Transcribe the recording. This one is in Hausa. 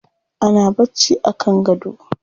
Ana bacci a kan gado.